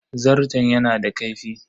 Zarton yana da kaifi?